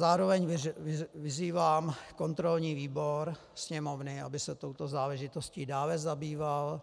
Zároveň vyzývám kontrolní výbor Sněmovny, aby se touto záležitostí dále zabýval